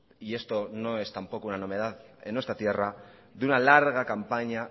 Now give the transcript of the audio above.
y esto no es tampoco una novedad en nuestra tierra de una larga campaña